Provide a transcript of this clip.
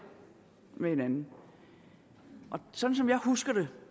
med hinanden sådan som jeg husker det